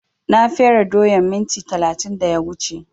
Na fere doyan minti talatin da ya wuce